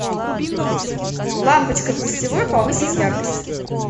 лампочка в гостевой повысить яркость